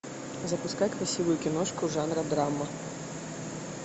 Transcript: запускай красивую киношку жанра драма